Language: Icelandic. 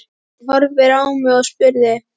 Hún horfði á mig og spurði